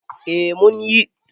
eh mun yi